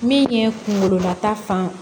Min ye kunkololata fan